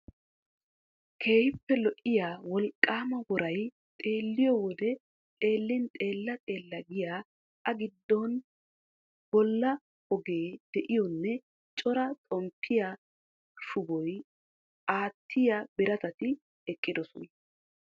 Keehippe lo"iya wolqqaama woray xeelliyo wode xeellin xeella xeella giya A giddon balla ogee de'iyonne cora xomppiya shubaa aattiya biratati eqqidosona.